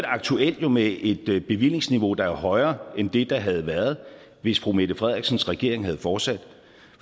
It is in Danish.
aktuelt med et bevillingsniveau der er højere end det der havde været hvis fru mette frederiksens regering havde fortsat